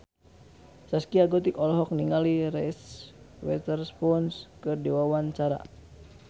Zaskia Gotik olohok ningali Reese Witherspoon keur diwawancara